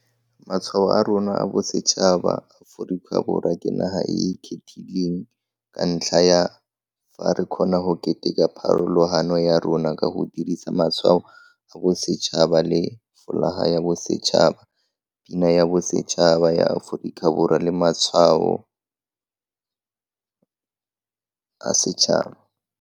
Matshwao a rona a bosetšhaba Aforika Borwa ke naga e e kgethegileng ka ntlha ya fa re kgona go keteka pharologano ya rona ka go dirisa Matshwao a Bosetšhaba le Folaga ya Bosetšhaba, Pina ya Bosetšhaba ya Aforika Borwa le Letshwao la Setšhaba.